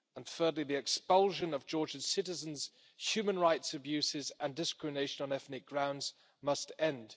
Thirdly, the expulsion of Georgian citizens, human rights abuses and discrimination on ethnic grounds must end.